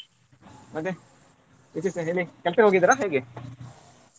ಮತ್ತೆ ವಿಶೇಷ ಹೇಳಿ ಕೆಲ್ಸಗ್ ಹೋಗಿದ್ರಾ ಹೇಗೆ?